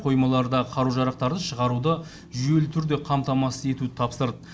қоймалардағы қару жарақтарды шығаруды жүйелі түрде қамтамасыз етуді тапсырды